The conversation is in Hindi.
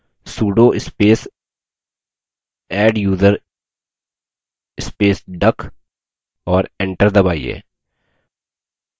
sudo space adduser space duck और enter दबाइए